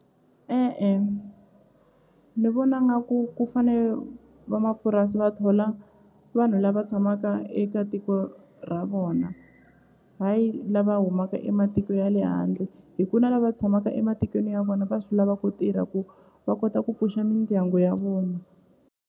E-e ni vona nga ku ku fane vamapurasi va thola vanhu lava tshamaka eka tiko ra vona hayi lava humaka ematiko ya le handle hi ku na lava tshamaka ematikweni ya vona va swi lava ku tirha ku va kota ku pfuxa mindyangu ya vona.